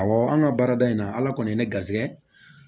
Awɔ an ka baarada in na ala kɔni ye ne garisɛgɛ